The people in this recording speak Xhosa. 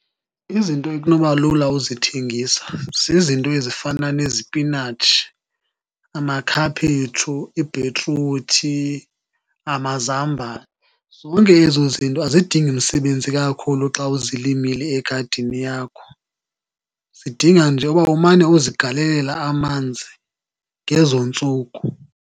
Izinto ekunoba lula uzithengisa zizinto ezifana nezipinatshi, amakhaphetshu, ibhitruthi, amazambane. Zonke ezo zinto azidingi msebenzi kakhulu xa uzilimile egadini yakho, zidinga nje uba umane uzigalelela amanzi ngezo ntsuku.